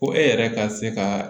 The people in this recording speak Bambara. Ko e yɛrɛ ka se ka